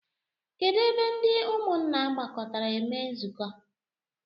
Kedụ ebe ndị ụmụnna gbakọtara eme nzukọ?